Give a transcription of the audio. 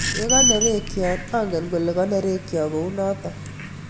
Yakaneregcho angen kole kanergcho kunotok.